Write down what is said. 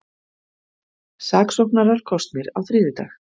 Saksóknarar kosnir á þriðjudag